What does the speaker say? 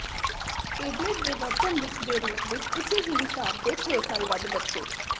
tablet ਦੇ ਵਰਤਣ ਵਿੱਚ ਦੇ ਰੂਪ ਵਿੱਚ ਉਸੇ ਹੀ ਹਿਸਾਬ ਦੇ ਛੇ ਸਾਲ ਵੱਧ ਬੱਚੇ